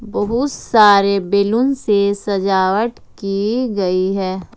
बहुत सारे बैलून से सजावट की गई है।